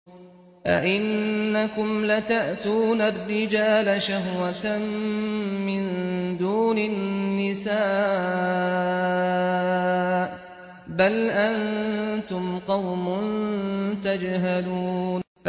أَئِنَّكُمْ لَتَأْتُونَ الرِّجَالَ شَهْوَةً مِّن دُونِ النِّسَاءِ ۚ بَلْ أَنتُمْ قَوْمٌ تَجْهَلُونَ